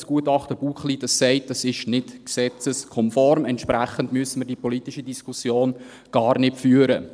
Das Gutachten Buchli sagt, es sei nicht gesetzeskonform, und entsprechend müssten wir die politische Diskussion gar nicht führen.